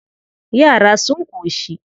Yara sun ƙoshi.